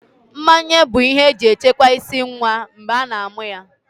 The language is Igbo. Mmanye bụ ihe eji echekwa ịsị nwa mgbe a na-amụ ya